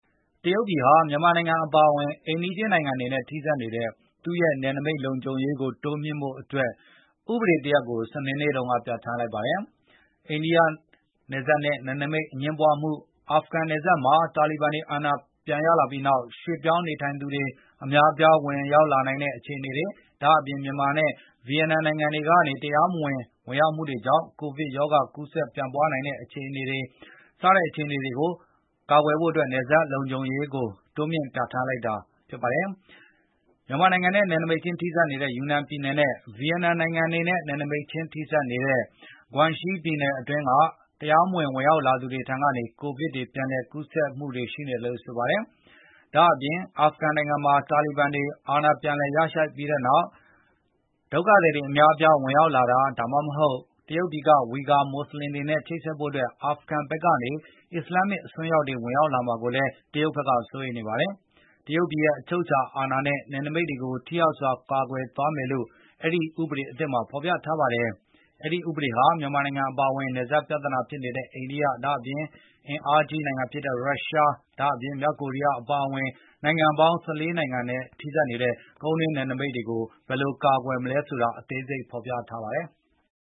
တရုတ်ပြည်ဟာ မြန်မာနိုင်ငံ အပါအဝင် အိမ်နီးချင်းနိုင်ငံတွေနဲ့ ထိစပ်နေတဲ့ သူ့ရဲ့နယ်နိမိတ်လုံခြုံရေး တိုးမြှင့်ဖို့အတွက် ဥပဒေတရပ်ကို စနေနေ့တုန်းက ပြဋ္ဌာန်းလိုက်ပါတယ်။ အိန္ဒိယနဲ့ နယ်နိမိတ်အငြင်းပွားမှု၊ အာဖဂန်မှာ တာလီဘန်တွေ အာဏာပြန်ရလာပြီးနောက် ရွှေ့ပြောင်းနေထိုင်သူတွေ အများအပြား ဝင်ရောက်လာနိုင်တဲ့ အခြေအနေ၊ ဒါ့အပြင် မြန်မာနဲ့ ဗီယက်နမ်နိုင်ငံတွေကနေ တရားမဝင် ဝင်ရောက်မှုတွေကြောင့် ကိုဗစ်ရောဂါ ကူးစက်ပြန့်ပွားနိုင်ခြေ စတဲ့ ပြဿနာရပ်တွေ ရှိနေချိန်မှာ အခုလို နယ်စပ်ကို လုံခြုံရေး တိုးမြှင့်ဖို့အတွက် ဥပဒေ ပြဋ္ဌာန်းလိုက်တာ ဖြစ်ပါတယ်။ မြန်မာနိုင်ငံနဲ့ နယ်နိမိတ်ခြင်း ထိစပ်နေတဲ့ ယူနန်ပြည်နယ်နဲ့ ဗီယက်နမ်နိုင်ငံတွေနဲ့ နယ်နိမိတ်ခြင်း ထိစပ်နေတဲ့ Guangxi ပြည်နယ်တွေအတွင်း တရားမဝင် ဝင်ရောက်လာသူတွေထံကနေ ကိုဗစ် ပြန်လည်ကူးစက်မှုတွေ ရှိခဲ့ပါတယ်။ ဒါ့အပြင် အာဖဂန်နိုင်ငံမှာ တာလီဘန်တွေ အာဏာပြန်လည်ရရှိခဲ့ပြီးနောက် ဒုက္ခသည်တွေ အများအပြား ဝင်ရောက်လာတာ ဒါမှမဟုတ် တရုတ်ပြည်က ဝီဂါ မွတ်စလင်တွေနဲ့ ချိတ်ဆက်ဖို့ အာဖဂန်ဘက်ကနေ အစ္စလာမ္မစ် အစွန်းရောက်တွေ ဝင်ရောက်လာမှာကိုလည်း တရုတ်က စိုးရိမ်နေပါတယ်။ တရုတ်ပြည်ရဲ့ အချုပ်အခြာ အာဏာနဲ့ နယ်နိမိတ်ကို ထိရောက်စွာ ကာကွယ်သွားမယ်လို့ အဲဒီ တရုတ်ဥပဒေသစ်မှာ ဖော်ပြထားပါတယ်။ ဒီဥပဒေဟာ မြန်မာနိုင်ငံ အပါအဝင် နယ်စပ်ပြဿနာဖြစ်နေတဲ့ အိန္ဒိယ၊ အင်အားကြီး ရုရှား၊ ဒါ့အပြင် မြောက်ကိုရီးယား အပါအဝင် နိုင်ငံပေါင်း ၁၄ နိုင်ငံနဲ့ ထိစပ်နေတဲ့ နယ်နိမိတ်ကို ဘယ်လိုကာကွယ်မယ်ဆိုတာကို အသေးစိတ် ဖော်ပြထားပါတယ်။